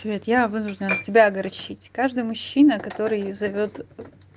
свет я вынуждена тебя огорчить каждый мужчина который зовёт